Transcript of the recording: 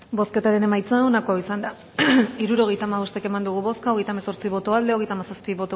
bozketaren emaitza onako izan da hirurogeita hamasei eman dugu bozka hogeita hemeretzi boto aldekoa treinta y siete